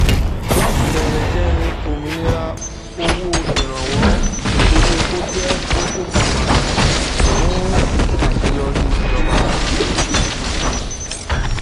láti bẹrẹ kẹrin ominira owó ìrànwọ orí epo jẹ kókó kan pàtàkì fún àṣeyọrí ìjọba